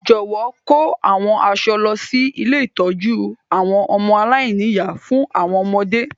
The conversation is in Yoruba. Jọ̀wọ́ kò àwọn aṣọ lọ si ilé ìtójú àwon ọmọ aláìní-ìyá fún àwọn ọmọdé.